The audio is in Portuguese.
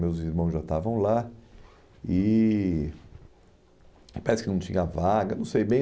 Meus irmãos já estavam lá e parece que não tinha vaga, não sei bem.